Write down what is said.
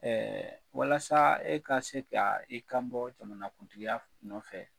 walasa e ka se ka, i kan bɔ jamanakuntigiya nɔfɛ